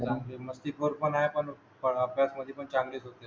मस्तीखोर पण ये पण पण अभ्यासमध्ये पण चांगलेच होते